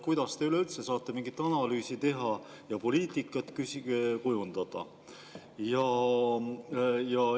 Kuidas te üldse saate nii mingit analüüsi teha ja poliitikat kujundada?